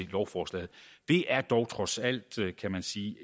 lovforslaget det er dog trods alt kan man sige